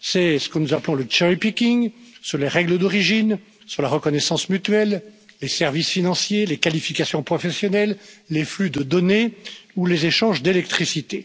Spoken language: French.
C'est ce que nous appelons le cherry picking sur les règles d'origine, sur la reconnaissance mutuelle, les services financiers, les qualifications professionnelles, les flux de données ou les échanges d'électricité.